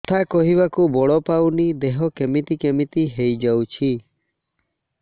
କଥା କହିବାକୁ ବଳ ପାଉନି ଦେହ କେମିତି କେମିତି ହେଇଯାଉଛି